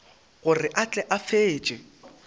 gore a tle a fetše